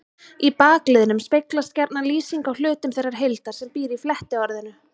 Í bakliðnum speglast gjarna lýsing á hlutum þeirrar heildar sem býr í flettiorðinu.